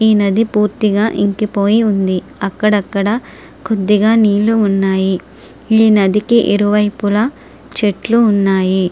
ఈ నది పూర్తిగా ఇంకిపోయి ఉంది. అక్కడక్కడ కొద్దిగా నీళ్లు ఉన్నాయి. ఈ నదికి ఇరువైపులా చెట్లు ఉన్నాయి.